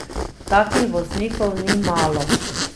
Takih voznikov ni malo.